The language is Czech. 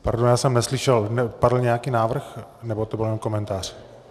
Pardon, já jsem neslyšel - padl nějaký návrh, nebo to byl jen komentář?